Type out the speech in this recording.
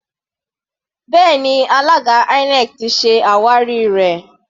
Bẹ́ẹ̀ni, alága INEC ti se àwárí rẹ.